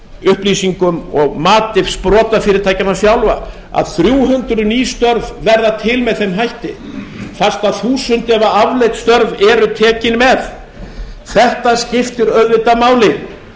upplýsingum og mati sprotafyrirtækjanna sjálfra að þrjú hundruð ný störf verða til með þeim hætti fast að þúsund eða afleidd störf eru tekin með þetta skiptir auðvitað máli